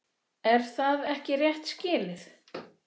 Er það ekki rétt skilið?